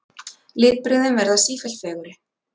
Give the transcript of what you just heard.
Litbrigðin verða sífellt fegurri.